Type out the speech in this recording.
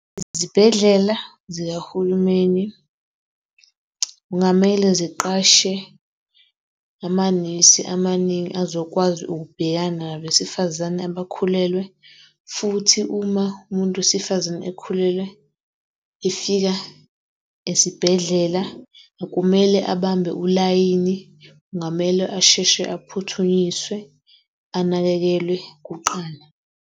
Izibhedlela zikahulumeni kungamele ziqashe amanesi amaningi azokwazi ukubhekana nabesifazane abakhulelwe, futhi uma umuntu wesifazane ekhulelwe, efika esibhedlela akumele ubambe ulayini. Kungamele asheshe aphuthunyiswe, anakekelwe kuqala.